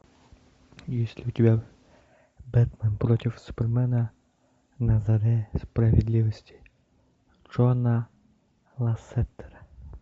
есть ли у тебя бэтмен против супермена на заре справедливости джона лассетера